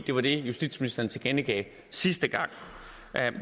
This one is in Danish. det var det justitsministeren tilkendegav sidste gang